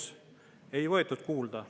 Seda ei võetud kuulda.